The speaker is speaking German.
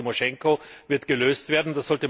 Auch der Fall Timoschenko wird gelöst werden.